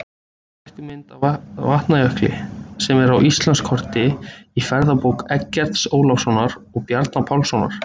Stækkuð mynd af Vatnajökli sem er á Íslandskorti í ferðabók Eggerts Ólafssonar og Bjarna Pálssonar.